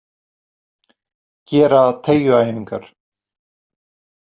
Gera teygjuæfingar.